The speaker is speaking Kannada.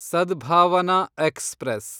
ಸದ್ಭಾವನಾ ಎಕ್ಸ್‌ಪ್ರೆಸ್